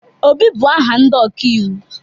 Obi, bụ aha ndị ọkaiwu.